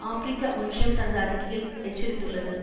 ஆபிரிக்க ஒன்றியம் தனது அறிக்கையில் எச்சரித்துள்ளது